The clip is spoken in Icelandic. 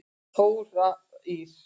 Þóra Ýr.